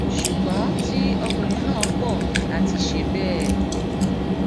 ṣùgbọn tí ọkùnrin náà kọ láti ṣe bẹẹ